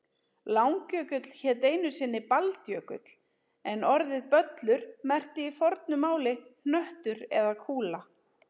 Langjökull hét einu sinni Baldjökull en orðið böllur merkti í fornu máli hnöttur eða kúla.